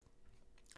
DR2